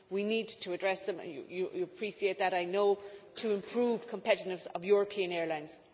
We need to address them you appreciate that, I know to improve competitiveness of European airlines.